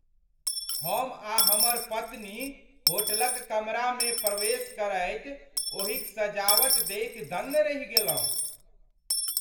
हम आ हमर पत्नी होटलक कमरामे प्रवेश करैत ओहिक सजावट देखि दङ्ग रहि गेलहुँ।